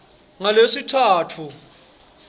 ngalesitsatfu